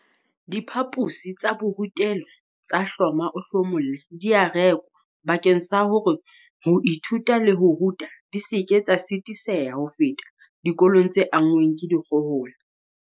Diphaposi tsa borutelo tsa hloma-o-hlomolle di a rekwa bakeng sa hore ho ithuta le ho ruta di seke tsa sitiseha ho feta dikolong tse anngweng ke dikgohola.